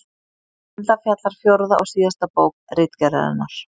Um það fjallar fjórða og síðasta bók Ritgerðarinnar.